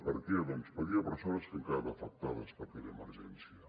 per què doncs perquè hi ha persones que han quedat afectades per aquella emergència